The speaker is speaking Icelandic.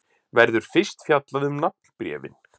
Verður fyrst fjallað um nafnbréfin.